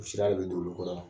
O sira be d'olu kɔrɔ.